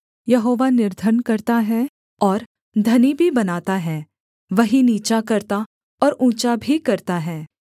यहोवा निर्धन करता है और धनी भी बनाता है वही नीचा करता और ऊँचा भी करता है